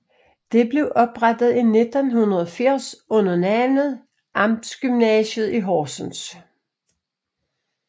Det blev oprettet i 1980 under navnet Amtsgymnasiet i Horsens